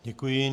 Děkuji.